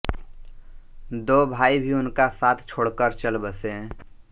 दो भाई भी उनका साथ छोड़कर चल बसे